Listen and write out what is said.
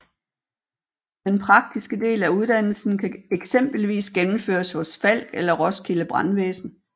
Den praktiske del af uddannelsen kan eksempelvis gennemføres hos Falck eller Roskilde Brandvæsen